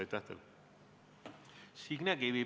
Signe Kivi, palun!